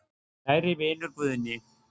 Kæri vinur Guðni.